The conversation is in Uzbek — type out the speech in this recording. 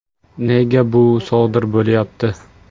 Nega bu sodir bo‘lyapti?